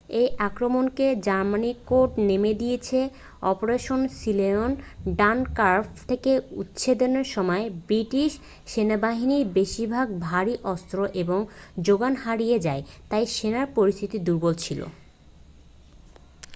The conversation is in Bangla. এই আক্রমণকে জার্মানি কোড-নেম দিয়েছে অপারেশন সিলায়ন'' ডানকার্ক থেকে উচ্ছেদের সময় ব্রিটিশ সেনাবাহিনীর বেশিরভাগ ভারী অস্ত্র এবং জোগান হারিয়ে যায় তাই সেনার পরিস্থিতি দুর্বল ছিল